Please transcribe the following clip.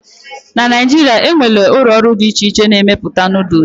na Naijiria, e nwere ụlọ ọrụ dị iche iche na-emepụta Noodles